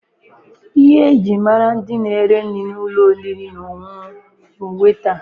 Ihe eji mara ndị na-ere nri n'ụlọ oriri na ọṅụṅụ bụ wetaa.